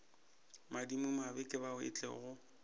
madimabe ke bao e tlogo